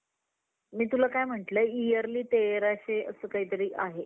खेळचा तास सगळ्या मुलांना खूप आवड~आवडायच तसेच तर आपल्या भारतामध्ये खूप अलग अलग, वेगवेगळ्या प्रकारचे खेळ खेळल्या जात असतात